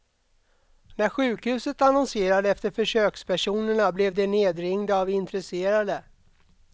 När sjukhuset annonserade efter försökspersonerna blev de nedringda av intresserade.